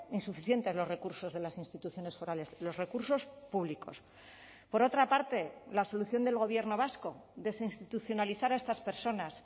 insuficientes los recursos de las instituciones forales los recursos públicos por otra parte la solución del gobierno vasco desinstitucionalizar a estas personas